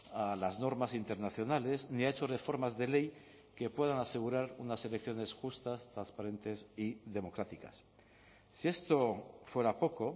a las normas internacionales ni ha hecho reformas de ley que puedan asegurar unas elecciones justas transparentes y democráticas si esto fuera poco